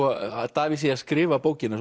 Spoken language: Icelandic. Davíð sé að skrifa bókina